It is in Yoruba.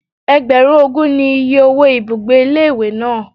Ẹgbẹ̀rún ogún ni oye owó ibùgbé ilé ìwé náà.